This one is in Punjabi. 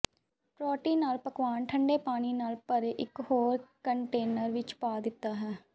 ਪ੍ਰੋਟੀਨ ਨਾਲ ਪਕਵਾਨ ਠੰਡੇ ਪਾਣੀ ਨਾਲ ਭਰੇ ਇੱਕ ਹੋਰ ਕੰਟੇਨਰ ਵਿੱਚ ਪਾ ਦਿੱਤਾ ਹੈ